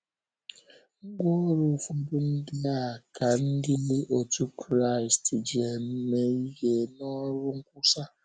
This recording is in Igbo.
Ngwá ọrụ ụfọdụ ndị a ka ndị otú Kraịst ji eme ihe n’ọrụ nkwusa